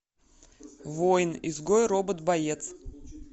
воин изгой робот боец